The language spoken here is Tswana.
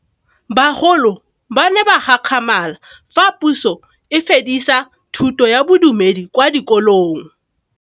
Bagolo ba ne ba gakgamala fa Pusô e fedisa thutô ya Bodumedi kwa dikolong.